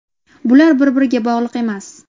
Bular bir-biriga bog‘liq emas.